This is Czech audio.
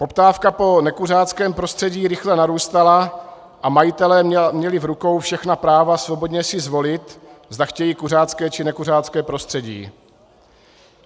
Poptávka po nekuřáckém prostředí rychle narůstala a majitelé měli v rukou všechna práva svobodně si zvolit, zda chtějí kuřácké, či nekuřácké prostředí.